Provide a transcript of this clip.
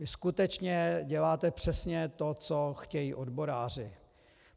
Vy skutečně děláte přesně to, co chtějí odboráři.